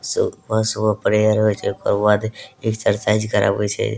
सुबह-सुबह प्रेयर होय छै ओकर बाद एक्सरसाइज करावे छै।